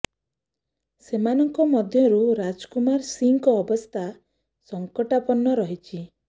ସେମାନଙ୍କ ମଧ୍ୟରୁ ରାଜ କୁମାର ସିଂଙ୍କ ଅବସ୍ଥା ସଙ୍କଟାପନ୍ନ ରହିଛି